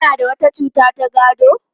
Kuna da wata cuta ta gado?